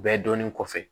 Bɛɛ dɔnnen kɔfɛ